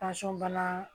bana